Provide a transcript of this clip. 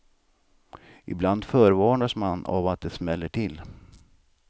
Ibland förvarnas man av att det smäller till.